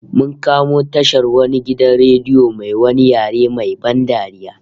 Mun kamo tashar wani gidan radio mai wani yare main ban dariya